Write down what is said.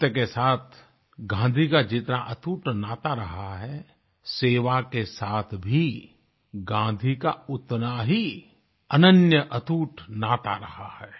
सत्य के साथ गांधी का जितना अटूट नाता रहा है सेवा के साथ भी गाँधी का उतना ही अनन्य अटूट नाता रहा है